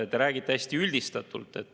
Te räägite hästi üldistatult.